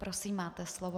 Prosím, máte slovo.